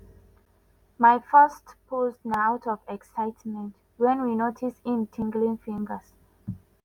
"my first post na out of excitement wen we notice im tinglin fingers.